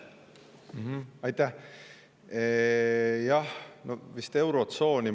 Aitäh!